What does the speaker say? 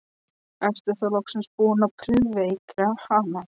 Ertu þá loksins búinn að prufukeyra hana?